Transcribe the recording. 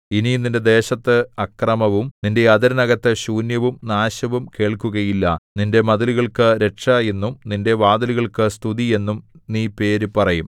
ഇനി നിന്റെ ദേശത്തു അക്രമവും നിന്റെ അതിരിനകത്തു ശൂന്യവും നാശവും കേൾക്കുകയില്ല നിന്റെ മതിലുകൾക്കു രക്ഷ എന്നും നിന്റെ വാതിലുകൾക്കു സ്തുതി എന്നും നീ പേര് പറയും